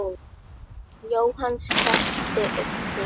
Jóhann skellti upp úr.